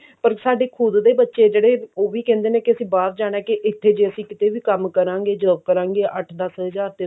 ਪਰ ਸਾਡੇ ਖੁਦ ਦੇ ਬੱਚੇ ਜਿਹੜੇ ਉਹ ਵੀ ਕਹਿੰਦੇ ਨੇ ਕੀ ਅਸੀਂ ਬਾਹਰ ਜਾਣਾ ਕਿ ਇੱਥੇ ਜੇ ਅਸੀਂ ਕਿਤੇ ਵੀ ਕੰਮ ਕਰਾਂਗੇ job ਕਰਾਂਗੇ ਅੱਠ ਦਸ ਹਜ਼ਾਰ ਤੇ